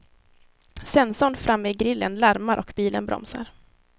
Sensorn framme i grillen larmar och bilen bromsar.